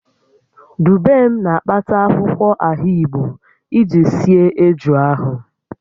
Dubem na-akpata akwụkwọ ahigbo iji sie eju ahụ